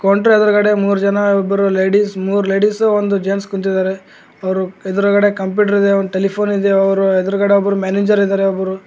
ಕೌಂಟರ ಎದುರುಗಡೆ ಮುರು ಜನ್ ಒಬ್ರು ಲೇಡೀಸ್ ಮೂರ ಲೆಡಿಸ್ ಒಂದು ಜೆಂಟ್ಸ್ ಕುಂತಿದ್ದಾರೆ ಅವರ ಎದುರುಗಡೆ ಕಂಪ್ಯೂಟರ್ ಇದೆ ಒಂದು ಟೆಲಿಫೋನಿ ದೆ ಅವ್ರ ಎದ್ರುಗಡೆ ಒಬ್ರು ಮ್ಯಾನೇಜರ್ ಇದ್ದಾರೆ ಒಬ್ರು --